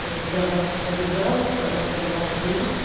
это для вас обязаловка это для вас груз